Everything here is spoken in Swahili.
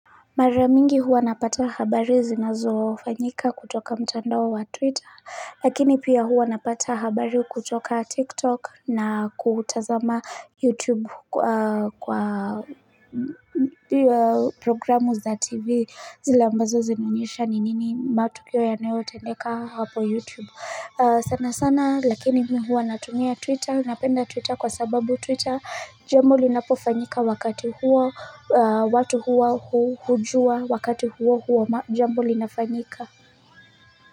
Mara mingi huwa napata habari zinazofanyika kutoka mtandao wa Twitter, lakini pia huwa napata habari kutoka TikTok na kutazama YouTube kwa programu za TV zile ambazo zinaonyesha ni nini matukio yanayotendeka hapo YouTube. Sana sana lakini mi huwa natumia twitter napenda twitter kwa sababu twitter jambo linapofanyika wakati huo watu huwa huu ujua wakati huo huo jambo linafanyika.